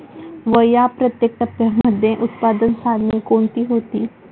व या प्रत्येक टप्प्यामध्ये उत्पादन साधने कोणती होती?